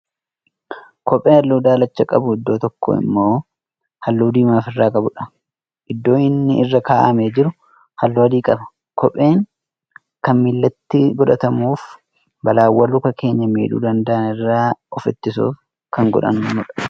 Kophee halluu daalacha qabu iddoo tokkoo immoo halluu diimaa ofirraa qabuudha. iddoon inni irra kaa'amee jiru halluu adii qaba. kopheen Kan miilatti godhatamuufi balaawwaan Luka keenya miidhuu danda'an irraa of ittisuuf Kan godhannudha.